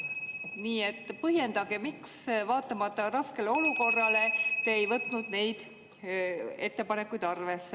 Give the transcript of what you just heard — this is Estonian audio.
Nii et põhjendage, miks te raskele olukorrale vaatamata ei võtnud neid ettepanekuid arvesse.